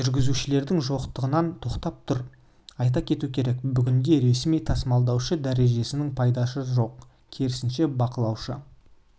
жүргізушілердің жоқтығынан тоқтап тұр айта кету керек бүгінде ресми тасымалдаушы дәрежесінің пайдасы жоқ керісінше бақылаушы